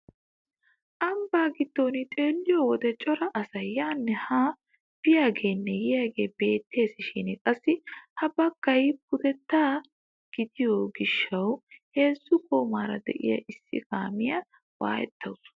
Ambbaa giddon xeelliyoo wode cora asay yaanne haa biyaagenne yiyaagee beettishin qassi ha baggay pudetta gidiyoo gishshawu heezzu goomaara de'iyaa issi kaamiyaa wayettawus.